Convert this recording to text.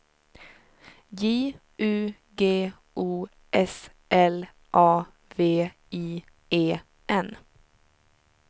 J U G O S L A V I E N